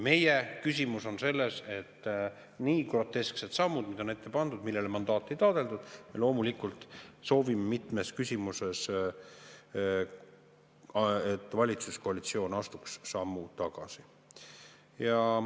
Meie küsimus on selles, et nii grotesksed sammud, mida on ette pandud, millele mandaati ei taotletud – me loomulikult soovime mitmes küsimuses, et valitsuskoalitsioon astuks sammu tagasi.